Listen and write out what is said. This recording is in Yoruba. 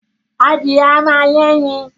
Adìyẹ a ma yé ẹyin